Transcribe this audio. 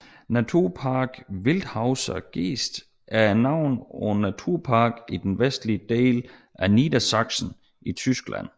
Naturpark Wildeshauser Geest er navnet på en Naturpark i den vestlige del af Niedersachsen i Tyskland